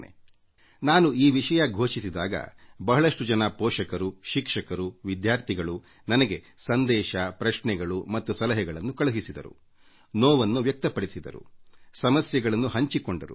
ನಾನು ಈ ವಿಷಯದ ಮೇಲೆ ಮಾತನಾಡುತ್ತೇನೆ ಎಂದು ಘೋಷಿಸಿದಾಗ ಬಹಳಷ್ಟು ಜನ ಪೋಷಕರು ಶಿಕ್ಷಕರು ವಿದ್ಯಾರ್ಥಿಗಳು ನನಗೆ ಸಂದೇಶ ಪ್ರಶ್ನೆಗಳು ಮತ್ತು ಸಲಹೆಗಳನ್ನು ಕಳುಹಿಸಿದ್ದಾರೆ ಮತ್ತು ತಮ್ಮ ದುಗುಡವನ್ನೂ ವ್ಯಕ್ತಪಡಿಸಿದ್ದಾರೆ ಮತ್ತುಸಮಸ್ಯೆಗಳನ್ನು ತೋಡಿಕೊಂಡಿದ್ದಾರೆ